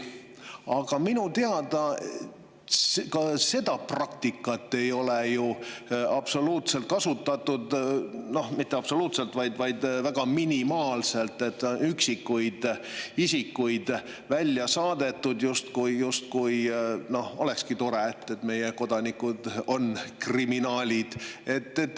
Aga minu teada ka seda praktikat kasutatud väga minimaalselt: üksikuid isikuid on välja saadetud, justkui olekski see tore, kui meie kodanikud on kriminaalid.